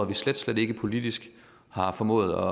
vi slet slet ikke politisk har formået